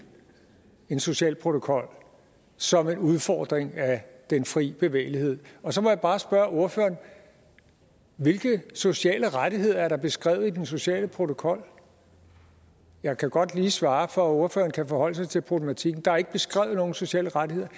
en social protokol som en udfordring af den fri bevægelighed så må jeg bare spørge ordføreren hvilke sociale rettigheder er der beskrevet i den sociale protokol jeg kan godt lige svare for at ordføreren kan forholde sig til problematikken der er ikke beskrevet nogen sociale rettigheder